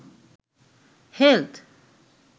health